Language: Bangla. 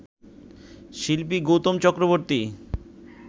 শিল্পী গৌতম চক্রবর্তী